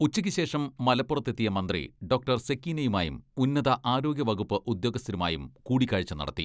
ഉച്ചക്ക് ശേഷം മലപ്പുറത്തെത്തിയ മന്ത്രി, ഡോക്ടർ സെക്കീനയുമായും ഉന്നത ആരോഗ്യ വകുപ്പ് ഉദ്യോഗസ്ഥരുമായും കൂടി കാഴ്ച്ച നടത്തി.